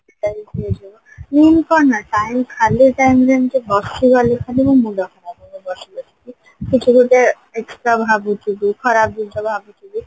Utilize ହେଇଯିବ ମୁଁ କଣ ନା time ଖାଲି time ରେ ଏମତି ବସିଗଲେ ଖାଲି ମୋ ମୁଣ୍ଡ ଖରାପ ହେଇଯାଏ ବସି ବସିକି କିଛି ଗୋଟେ extra ଭାବୁଥିବି ଖରାପ ଜିନିଷ ଭାବୁଥିବି